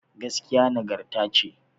Gaskiya nagarta ce